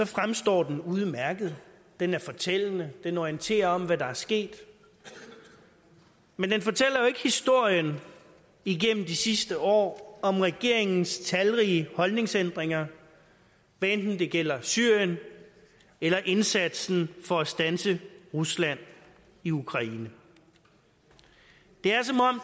fremstår den udmærket den er fortællende den orienterer om hvad der er sket men den fortæller jo ikke historien igennem de sidste år om regeringens talrige holdningsændringer hvad enten det gælder syrien eller indsatsen for at standse rusland i ukraine det